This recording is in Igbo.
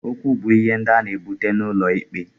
Okwu bu ihe ndị a na-ebute n'ụlọ ikpe.